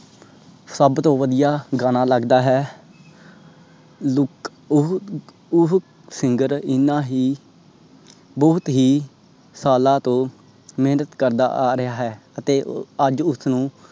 ਸਬ ਤੋਂ ਵਦੀਆ ਗਾਣਾ ਲੱਗਦਾ ਹੈ look ਉਹ Singer ਇਹਨਾਂ ਹੀ ਬਹੁਤ ਹੀ ਸਾਲਾਂ ਤੋਂ ਮੇਹਨਤ ਕਰਦਾ ਆ ਰਿਯਾ ਹੈ। ਅਤੇ ਅੱਜ ਉਸਨੂੰ